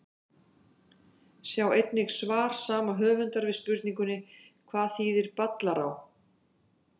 Sjá einnig svar saman höfundar við spurningunni Hvað þýðir Ballará?